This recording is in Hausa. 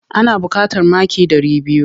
Ana buƙatar maki ɗari biyu.